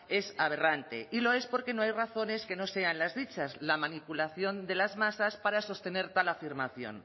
es aberrante y lo es porque no hay razones que no sean las dichas la manipulación de las masas para sostener tal afirmación